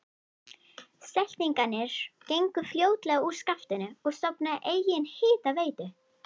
Seltirningar gengu fljótlega úr skaftinu og stofnuðu eigin hitaveitu.